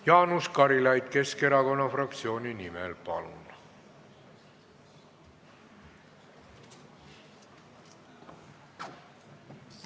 Jaanus Karilaid Keskerakonna fraktsiooni nimel, palun!